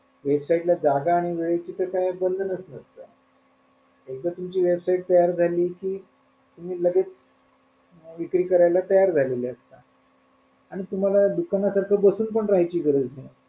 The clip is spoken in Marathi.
website ला तर काय जागा आणि वेळेचं काही बंधनच नाही एकदा तुमची website तयार झाली कि तुम्ही लगेच विक्री करायला तयार झालेले असतात आणि तुम्हाला दुकानासारखं बसून पण राहायची गरज नाही.